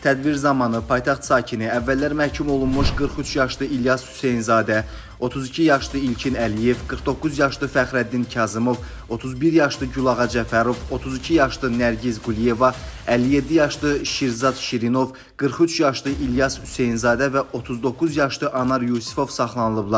Tədbir zamanı paytaxt sakini, əvvəllər məhkum olunmuş 43 yaşlı İlyas Hüseynzadə, 32 yaşlı İlkin Əliyev, 49 yaşlı Fəxrəddin Kazımov, 31 yaşlı Gülağa Cəfərov, 32 yaşlı Nərgiz Quliyeva, 57 yaşlı Şirzad Şirinov, 43 yaşlı İlyas Hüseynzadə və 39 yaşlı Anar Yusifov saxlanılıblar.